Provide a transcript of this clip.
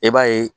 E b'a ye